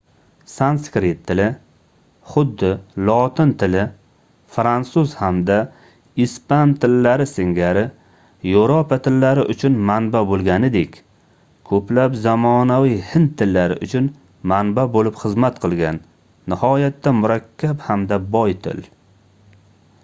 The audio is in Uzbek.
sanskrit tili xuddi lotin tili fransuz hamda ispan tillari singari yevropa tillari uchun manba boʻlganidek koʻplab zamonaviy hind tillari uchun manba boʻlib xizmat qilgan nihoyatda murakkab hamda boy til